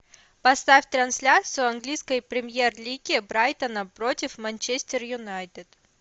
поставь трансляцию английской премьер лиги брайтона против манчестер юнайтед